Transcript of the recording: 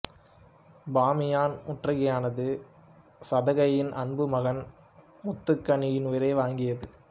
பாமியான் முற்றுகையானது சகதையின் அன்பு மகன் முத்துகனின் உயிரை வாங்கியது